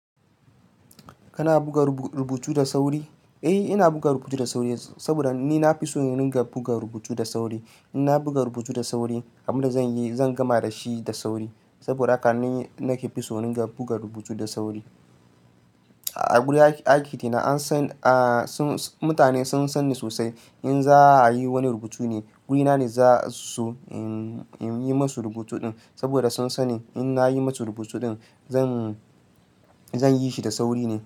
Kana buga rubutu da sauri? Eh, ina buga rubutu da sauri saboda ni na fi so in ringa buga rubutu da sauri. In na buga rubutu da sauri, abin da zan yi zan gama da shi da sauri. Saboda haka ni nake fi so in buga rubutu da sauri. A wurin aiki ɗi na, an san, sun san mutane sun san ni sosai. In za a yi wani rubutu ne, wurina ne za su yi masu rubutu ɗin saboda sun san in na yi masu rubutu ɗin zan zan yi shi da sauri ne.